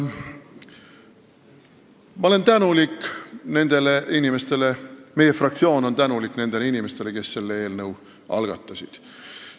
Ma olen tänulik – ja meie fraktsioon on tänulik – nendele inimestele, kes selle eelnõu algatasid.